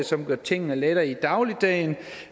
som gør tingene lettere i dagligdagen